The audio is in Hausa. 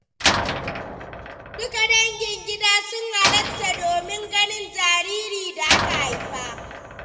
Duka dangin gida sun hallara domin ganin jaririn da aka haifa.